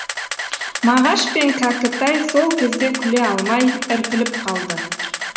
мағаш пен кәкітай сол кезде күле алмай іркіліп қалды